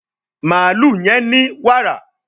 Mààlúù yén ní wààra